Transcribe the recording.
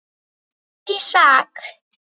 Daníel Ísak.